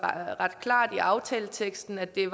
ret klart i aftaleteksten at det